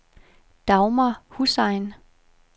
Dagmar Hussain